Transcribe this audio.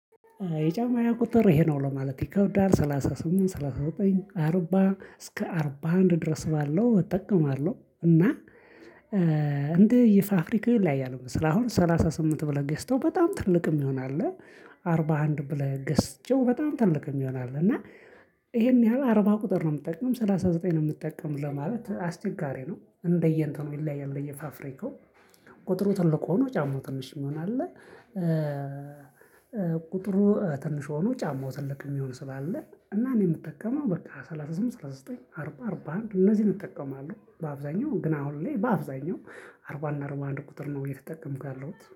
የጫማየ ቁጥር ይሄ ነው ለማለት ይከብዳል ሰላሳ ስምንት ሰላሳ ዘጠኝ አርባ እስከ አርባ አንድ ድረስ ባለው እጠቀማለው እና እንደ ፋፍሪካው ይለያያል። ስላሁን ሰላሳ ስምንት ብለን ገዝተው በጣም ትልቅ ሚሆን አለ። አርባ አንድ ብለህ ገዝቸው በጣም ትልቅ ሚሆን አለ። እና ይሄን ያህል አርባ ቁጥር ነው የምጠቀም ሰላሳ ዘጠኝ ነው የምጠቀም ለማለት አስቸጋሪ ነው። እንደየእንትኑ ይለያያል እየፋፍሬካው ቁጥሩ ትልቅ ሆኖ ጫማው ትንሽ ሚሆን አለ። እ ቁጥሩ ትንሽ ሆኖ ጫማው ትልቅ ሚሆን ስላለ እኔ ምጠቀመው ሰላሳ ስምንት ሰላሳ ዘጠኝ አርባ አርባ አንድ እነዚን እጠቀማለሁ። በአብዛኛው ግን አሁን ላይ በአብዛኛው አርባ እና አርባ አንድ ቁጥር ነው እየተጠቀምኩ ያለሁት